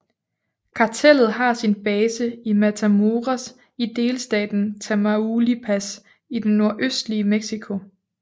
Kartellet har sin base i Matamoros i delstaten Tamaulipas i det nordøstlige Mexico